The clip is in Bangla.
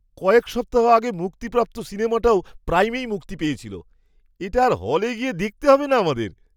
কয়েক সপ্তাহ আগে মুক্তিপ্রাপ্ত সিনেমাটাও প্রাইমেই মুক্তি পেয়েছিল! এটা আর হলে গিয়ে দেখতে হবে না আমাদের!